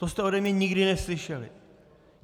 To jste ode mě nikdy neslyšeli.